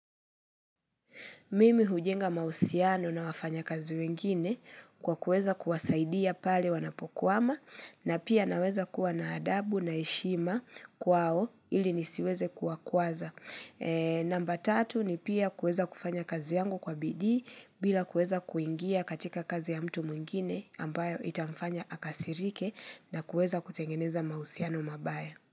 Mimi hujenga mahusiano na wafanyakazi wengine kwa kuweza kuwasaidia pale wanapokwama na pia naweza kuwa na adabu na heshima kwao ili nisiweze kuwakwaza. Namba tatu ni pia kuweza kufanya kazi yangu kwa bidii bila kuweza kuingia katika kazi ya mtu mwingine ambayo itafanya akasirike na kuweza kutengeneza mahusiano mabaya.